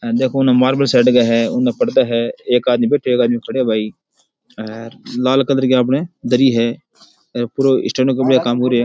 देखो उनमें पर्दे है एक आदमी बैठयो एक आदमी खड़ो है भाई और लाल कलर की अपने दरी है पुरो स्टेंड में काम हो री है।